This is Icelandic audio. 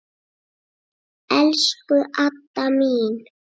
Elsku Adda mín.